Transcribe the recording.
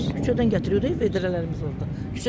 Küçədən gətiririk, vedrələrimiz orda.